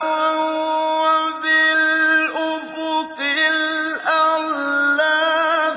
وَهُوَ بِالْأُفُقِ الْأَعْلَىٰ